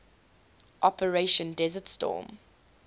operation desert storm